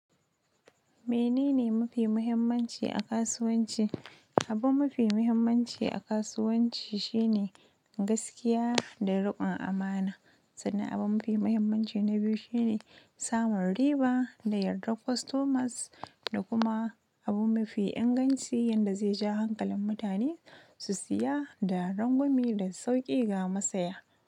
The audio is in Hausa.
Menene mafi muhimmanci a kasuwanci? Abun mafi muhimmanci a kasuwanci shine gaskiya da riƙon amana, sannan abun mafi muhimmanci na biyu shine samun riba da yardar customers da kuma abu mafi inganci wanda zai ja hankalin mutane su siya da rangwumi da sauƙi ga masaya.